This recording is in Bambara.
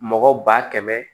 Mɔgɔ ba kɛmɛ